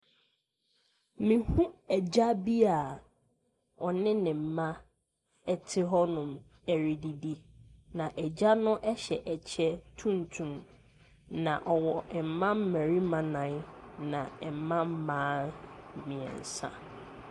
Meho agya bi aa ɔne ne mma ɛte hɔnom ɛredidi na agya no ɛhyɛ ɛkyɛ tumtum na ɔwɔ mmabarima nan na mmabaa mmieɛnsa.